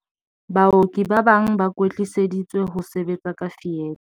"Baoki ba bang ba kwetliseditswe ho sebetsa ka fietha."